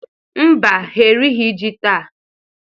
Mba, ha erighi ji taa